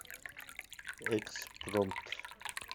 экспромт